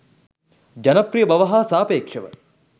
ජනප්‍රිය බව හා සාපේක්ෂව